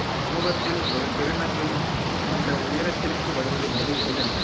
சமூகத்தில் ஒரு திருநங்கை இந்த உயரத்திற்கு வருவது என்பது எளிதல்ல